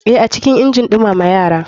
Eh, acikin injin numama yara.